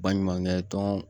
Baɲumankɛ tɔn